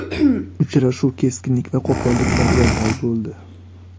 Uchrashuv keskinlik va qo‘polliklarga boy bo‘ldi.